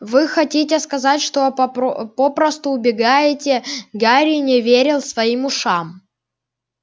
вы хотите сказать что попросту убегаете гарри не верил своим ушам